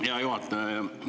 Hea juhataja!